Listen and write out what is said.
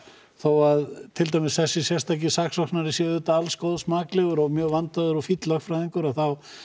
þó til dæmis þessi sérstaki saksóknari sé alls góðs maklegur og mjög vandaður og fínn lögfræðingur þá